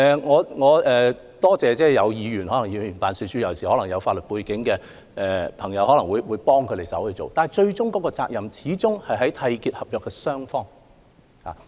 我要多謝各位議員，特別是一些有法律背景的議員可能會提供協助，但責任始終在於締結合約的雙方。